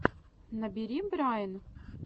набери брайн